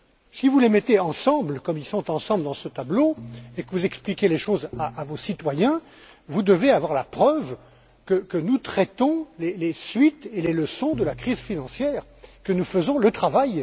Si vous les mettez ensemble, comme ils sont ensemble dans ce tableau et que vous expliquez les choses à vos citoyens, vous devez avoir la preuve que nous traitons les suites et tirons les leçons de la crise financière, que nous faisons le travail.